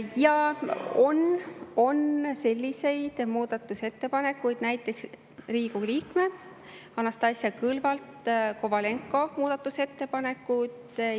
Jaa, on selliseid muudatusettepanekuid, näiteks Riigikogu liikme Anastassia Kovalenko-Kõlvarti muudatusettepanekud.